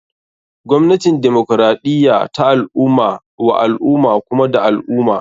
Gwamnatin demokaraɗiya ta al ummah wa al ummah kuma da al ummah.